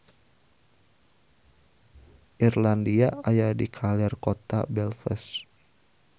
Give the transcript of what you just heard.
Irlandia aya di kaler kota Belfast